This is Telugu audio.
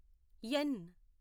ఎన్